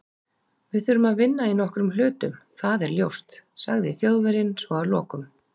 Við þurfum að vinna í nokkrum hlutum- það er ljóst, sagði Þjóðverjinn svo að lokum